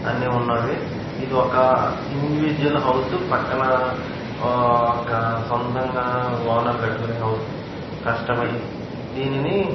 అన్నీ ఉన్నవి ఇది ఒక ఇండివిజువల్ హౌసు పక్కన ఒక సొంతంగా ఓనర్ కట్టుకునే హౌసు ఆ కష్టపడి దీనిని --